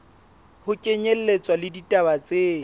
ho kenyelletswa le ditaba tse